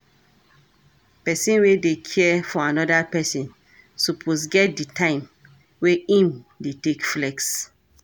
Person wey dey care for anoda person suppose get di time wey im dey take flex